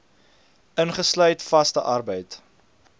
ingesluit vaste arbeid